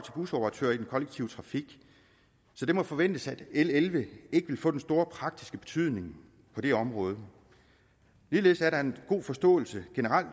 busoperatører i den kollektive trafik så det må forventes at l elleve ikke vil få den store praktiske betydning på det område ligeledes er der generelt en god forståelse